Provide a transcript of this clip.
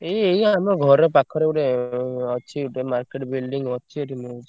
ଏଇ ଏଇ ଆମ ଘର ପାଖରେ ଗୋଟେ ଏଁ ଅଛି ଗୋଟେ market building ଅଛି ଏଠି ମିଳୁଚି।